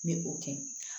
N bɛ o kɛ